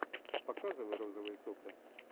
показывай розовые сопли